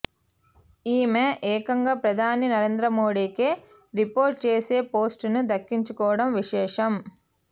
ఈమె ఏకంగా ప్రదాని నరేంద్రమోడీకే రిపోర్ట్ చేసే పోస్టును దక్కించుకోవడం విశేషం